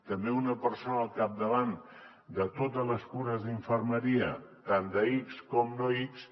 també una persona al capdavant de totes les cures d’infermeria tant d’ics com no ics